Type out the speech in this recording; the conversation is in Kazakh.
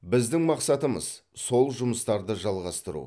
біздің мақсатымыз сол жұмыстарды жалғастыру